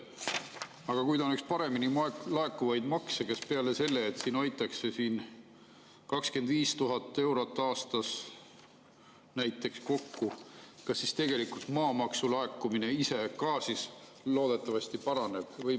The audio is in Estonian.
Aga kui ta on üks kõige paremini laekuvaid makse, kas peale selle, et siin hoitakse 25 000 eurot aastas kokku, ka tegelikult maamaksu laekumine loodetavasti paraneb?